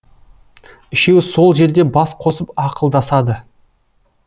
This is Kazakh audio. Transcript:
үшеуі сол жерде бас қосып ақылдасады